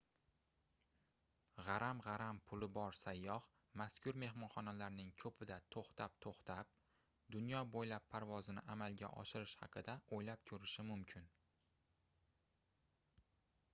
gʻaram-gʻaram puli bor sayyoh mazkur mehmonxonalarning koʻpida toʻxtab-toʻxtab dunyo boʻylab parvozni amalga oshirish haqida oʻylab koʻrishi mumkin